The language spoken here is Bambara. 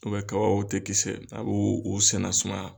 U bɛ tɛ kisɛ a b'o o senna sumaya